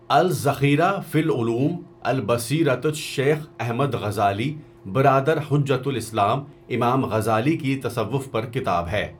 الذخيرہ في العلوم البصيرة شیخ احمد غزالی برادر حجۃ الاسلام امام غزالی کی تصوف پر کتاب ہے.